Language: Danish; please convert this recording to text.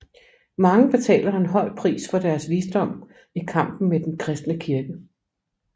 Mange betaler en høj pris for deres visdom i kampen med den kristne kirke